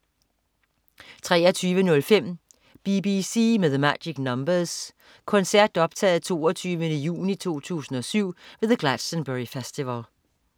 23.05 BBC med The Magic Numbers. koncert optaget 22. juni 2007 ved The Glastonbury Festival